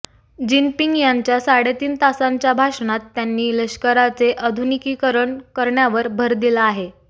Jinping यांच्या साडेतीन तासांच्या भाषणात त्यांनी लष्कराचे आधुनिकीकरण करण्यावर भर दिला आहे